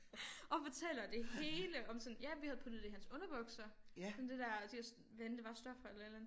Og fortæller det hele om sådan ja vi havde puttet det i hans underbukser sådan det der de hvad end det var stoffer eller et eller andet